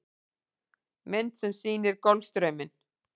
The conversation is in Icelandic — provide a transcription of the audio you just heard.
Mynd sem sýnir Golfstrauminn.